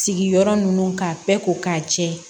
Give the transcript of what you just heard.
Sigiyɔrɔ ninnu k'a bɛɛ ko k'a jɛ